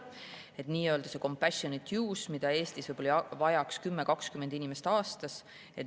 See on nii-öelda compassionate-use, mida Eestis võib-olla vajab 10–20 inimest aastas.